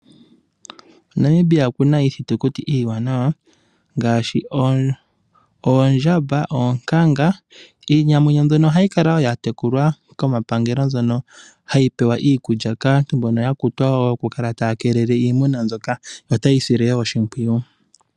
Namibia okuna iithitukuti iiwanawa ngaashi, oondjamba, oonkanga. Iinamwenyo mbyono ohayi kala wo yatekulwa komapangelo, mbyono hayi pewa iikulya kaantu mbono yakutwa wo yokukala taya keelele iimuna mbyoka, yo ta ye yi sile wo oshimpwiyu.